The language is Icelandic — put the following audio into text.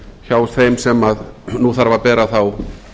hjá þeim sem nú þarf að bera þá